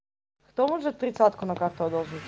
кто может тридцатку на карту одолжить